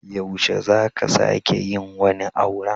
Yaushe za ka sake yin wani auren?